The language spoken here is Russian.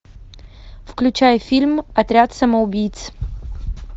включай фильм отряд самоубийц